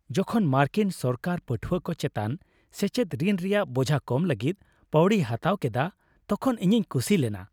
ᱡᱚᱠᱷᱚᱱ ᱢᱟᱨᱠᱤᱱ ᱥᱚᱨᱠᱟᱨ ᱯᱟᱹᱴᱷᱣᱟᱹ ᱠᱚ ᱪᱮᱛᱟᱱ ᱥᱮᱪᱮᱫ ᱨᱤᱱ ᱨᱮᱭᱟᱜ ᱵᱳᱡᱷᱟ ᱠᱚᱢ ᱞᱟᱹᱜᱤᱫ ᱯᱟᱹᱣᱲᱤᱭ ᱦᱟᱛᱟᱣ ᱠᱮᱫᱟ ᱛᱚᱠᱷᱚᱱ ᱤᱧᱤᱧ ᱠᱩᱥᱤ ᱞᱮᱱᱟ ᱾